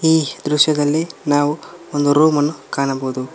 ಈ ದೃಶ್ಯದಲ್ಲಿ ನಾವು ಒಂದು ರೂಮನ್ನು ಕಾಣಬೋದು.